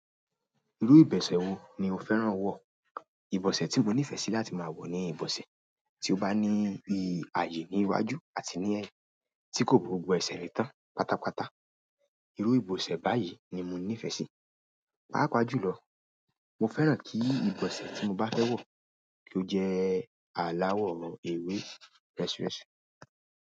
Iru ibose wo ni o fẹ́ràn nwo. Ìbọ̀sẹ̀ tí mo nífẹsí láti máa wọ̀ ni ìbọ̀sẹ̀ tí ó bá ní bíi ààyè ní iwájú àti ní ẹ̀yìn, tí kò bo gbogbo ẹsẹ̀ rí tán pátápátá. Irú ìbọ̀sẹ̀ báyìí ni mo nífẹ́sí. Paapa jùlọ mi fẹ́ràn ki ibose ti mo ba fe wọ ko jẹ alawọ ewe, resuresu.